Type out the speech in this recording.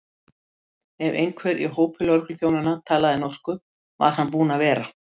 Ef einhver í hópi lögregluþjónanna talaði norsku, var hann búinn að vera.